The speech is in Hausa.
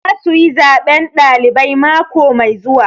Za su yi zaɓen ɗalibai mako mai zuwa